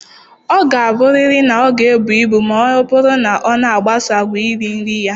Ọ ga-abụrịrị na ọ ga-ebu ibu ma ọ bụrụ na ọ na-agbaso àgwà iri nri ya